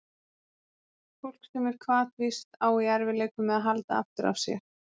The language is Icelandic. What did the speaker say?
Fólk sem er hvatvíst á í erfiðleikum með að halda aftur af sér.